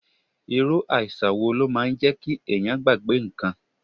Irú àìsàn wo ló máa ń jẹ kí ẹ̀yàn gbàgbé ǹkan?